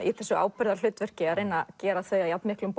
í þessu ábyrgðarhlutverki að gera þau að jafnmiklum